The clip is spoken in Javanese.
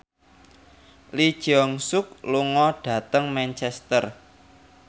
Lee Jeong Suk lunga dhateng Manchester